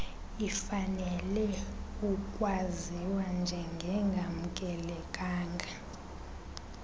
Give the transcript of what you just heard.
ifanelwe ukwaziwa njengengamkelekanga